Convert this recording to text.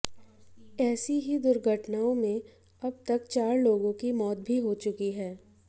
ऐसी ही दुर्घटनाओं में अब तक चार लोगों की मौत भी हो चुकी है